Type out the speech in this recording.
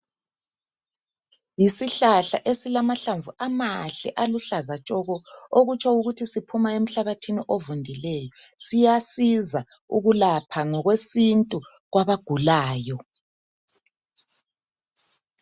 Yisihlahla ezilamahlamvu amahle aluhlaza tshoko. Okutsho ukuthi siphuma emhlabathini ovundileyo. Siyasiza ukulapha ngokwesintu kwabagulayo.